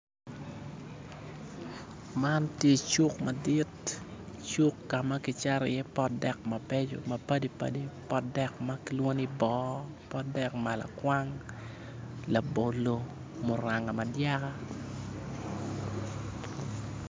Man tye cuk madit cuk ka ma kicato iye pot dek mabecco mapadi padi pot dek ma kilwongo ni boo pot dek malakwang labolo muranga madyaka